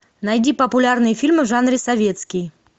найди популярные фильмы в жанре советский